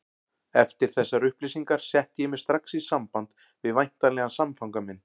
Eftir þessar upplýsingar setti ég mig strax í samband við væntanlegan samfanga minn.